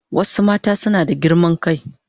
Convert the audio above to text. Wasu mata suna da girman kai.